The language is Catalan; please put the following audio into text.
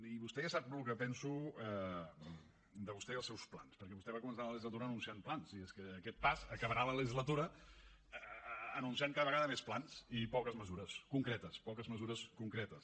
i vostè ja sap el que penso de vostè i els seus plans perquè vostè va començar la legislatura anunciant plans i és que a aquest pas acabarà la legislatura anunciant cada vegada més plans i poques mesures concretes poques mesures concretes